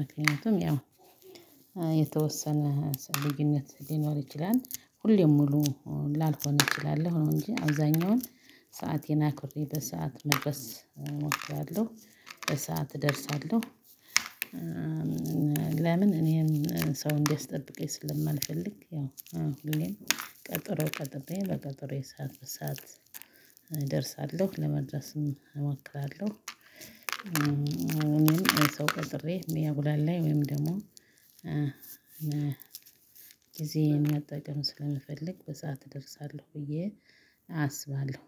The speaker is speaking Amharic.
ምክንያቱም ያው የተወሰነ ልዩነት ሊኖር ይችላል ሁሌም ሙሉ ላልሆነ እችላለሁ ነው እንጂ አብዛኛውን ሰአቴን አክብሬ በሰአት መድረስ እሞክራለሁ። በሰአት እደርሳለሁ። ለምን እኔን ሰው እንዲያስጠብቀኝ ስለማልፈልግ ያው ሁሌም ቀጥሮ ጠብቄ በቀጥሮዬ ሰዓት በሰአት እደርሳለሁ ለመድረስም እሞክራለሁ። እኔም ሰው ቀጥሬ እሚያጉላላኝ ላይ ወይም ደግሞ ጊዜዬን መጠቀም ስለምፈልግ በሰአት እደርሳለሁ ብዬ አስባለሁ